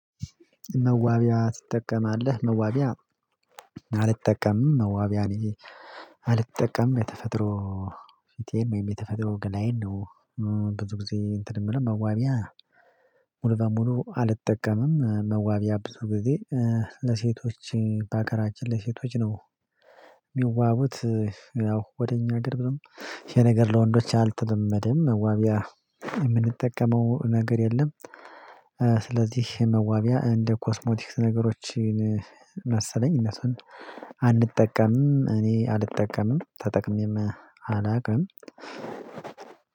መዋቢያ ትጠቀማለህ? መዋቢያ አልጠቀምም መዋቢያ አልጠቀምም። የተፈጥሮ ፊቴም የተፈጥሮ ገላዬን ነው ብዙ ጊዜ እንትን የምለው መዋቢያ ሙሉ በሙሉ አልጠቀምም። መዋቢያ ብዙ ጊዜ ለሴቶች በሀገራችን ለሴቶች ነው። የሚዋቡት ያው ወደ እኛ አገርም የነገር ለወንዶች አልተለመደም መዋቢያ የምንጠቀመው ነገር የለም። ስለዚህ መዋቢያ እንደ ኮስሞቲክስ ነገሮችን መሰለኝ እነሱን አንጠቀምም እኔ አልጠቀምም ተጠቅሜም አላውቅም።